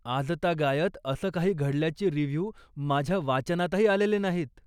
आजतागायत असं काही घडल्याचे रिव्ह्यू माझ्या वाचनातही आलेले नाहीत.